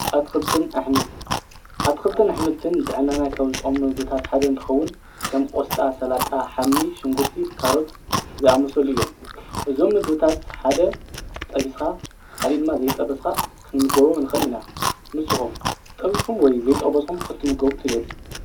ኣትክልትን ኣሕምልትን ኣትክልትን ኣሕምልትን ንጥዕናና ካብ ዝጠቕሙ ምግብታተ ሓደ እንትኸውን ከም ቆስጣ፣ ሰላጣ፣ ሓምሊ፣ ሽንጉርቲ ካሮት ዝኣመሰሉ እዮም። እዞም ምግብታት ሓደ ጠቢስኻ ካሊእ ድማ ከይጠበስኻ ክንምገቦም ንኽእል ኢና። ንስኹም ጠቢስኩም ወይ ዘይጠበስኩም ክትምገቡ ትደልዩ?